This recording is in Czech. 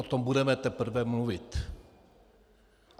O tom budeme teprve mluvit.